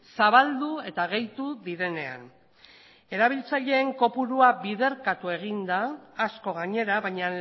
zabaldu eta gehitu direnean erabiltzaileen kopurua biderkatu egin da asko gainera baina